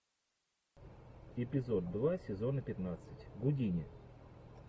эпизод два сезона пятнадцать гудини